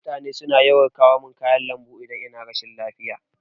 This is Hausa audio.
Mutane na kawo min kayan lambu idan ina rashin lafiya.